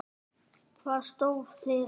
Hvað stóð til?